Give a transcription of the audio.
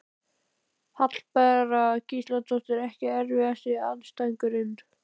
Hallbera Gísladóttir Ekki erfiðasti andstæðingur?